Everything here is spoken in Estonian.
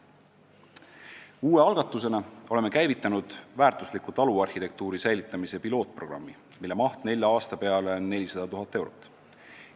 Uue algatusena oleme käivitanud väärtusliku taluarhitektuuri säilitamise pilootprogrammi, mille maht nelja aasta peale on 400 000 eurot.